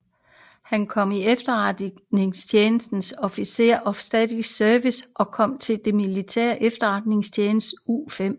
Han kom i efterretningstjenesten Office of Strategic Services og kom til den militære efterretningstjeneste U5